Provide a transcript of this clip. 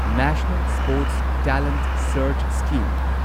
national sports talent search scheme